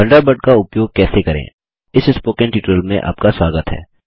Thunderbird का उपयोग कैसे करें इस स्पोकन ट्यूटोरियल में आपका स्वागत है